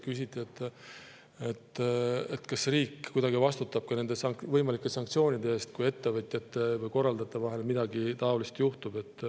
Küsiti, kas riik kuidagi vastutab nende võimalike sanktsioonide eest, kui ettevõtjate või korraldajate vahel midagi taolist juhtub.